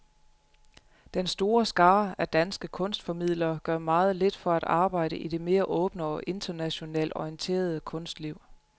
Den store skare af danske kunstformidlere gør meget lidt for at arbejde i det mere åbne og internationalt orienterede kunstliv.